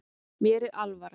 Mér er alvara